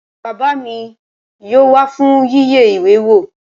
Bàbá mi yóò wá fún yíyẹ ìwé wò